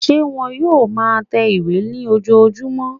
Ṣé wón yóò ma tẹ ìwé ní ojojúmọ́?